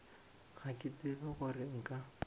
ga ke tsebe gore nka